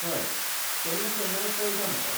हय, केन्ना केन्नाय कळटा म्हाका.